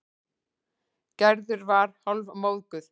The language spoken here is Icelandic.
Gerður var hálfmóðguð.